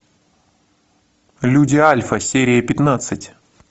люди альфа серия пятнадцать